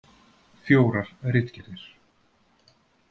Fjórar ritgerðir.